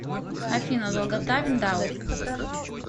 афина долгота виндау